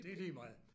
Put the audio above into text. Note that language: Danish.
Det ligemeget